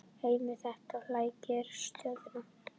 Heimir: Þetta flækir stöðuna?